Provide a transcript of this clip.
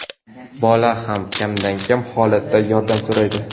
Bola ham kamdan-kam holatda yordam so‘raydi.